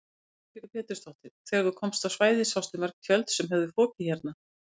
Lillý Valgerður Pétursdóttir: Þegar þú komst á svæðið sástu mörg tjöld sem höfðu fokið hérna?